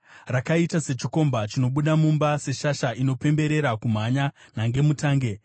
rakaita sechikomba chinobuda mumba, seshasha inopemberera kumhanya nhangemutange.